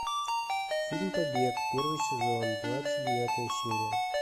фильм побег первый сезон двадцать девятая серия